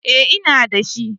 Eh ina da.